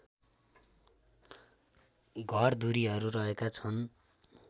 घरधुरीहरु रहेका छन्